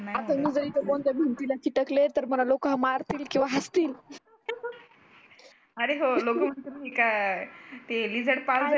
असं मी जर इथे कोणत्या भिंतीला चिटकले तर लोक मला मारतील किंवा हसतील अरे हो लोक म्हणतील ही काय ते lizard पाल